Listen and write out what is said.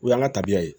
O y'an ka tabiya ye